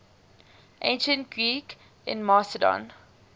ancient greeks in macedon